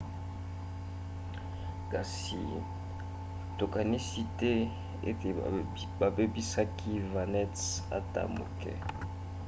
kasi tokanisi te ete babebisaki navette ata moke